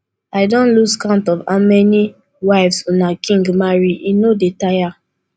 i don lose count of how many wives una king marry e no dey tire